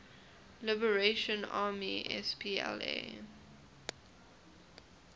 liberation army spla